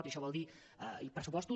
i això vol dir pressupostos